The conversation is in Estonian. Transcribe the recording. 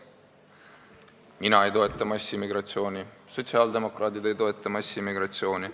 Mina ei toeta massimigratsiooni, sotsiaaldemokraadid ei toeta massimigratsiooni.